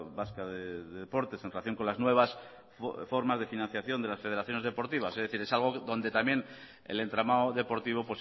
vasca de deportes en relación con las nuevas formas de financiación de las federaciones deportivas es decir es algo donde también el entramado deportivo